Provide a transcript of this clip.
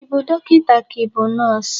Ị bụ dokịnta ka i bụ nọs?